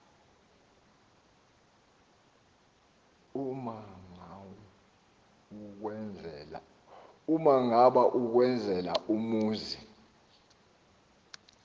umagawu ukwenzela umzi